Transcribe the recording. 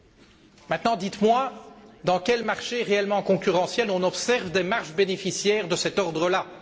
Cela dit, dites moi dans quel marché réellement concurrentiel on observe des marges bénéficiaires de cet ordre là?